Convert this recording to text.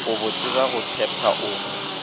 babotse ba go tšhepa o